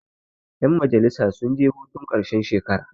yanmajalisa sun je hurun karshen shekara